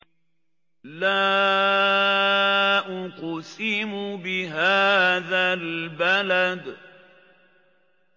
لَا أُقْسِمُ بِهَٰذَا الْبَلَدِ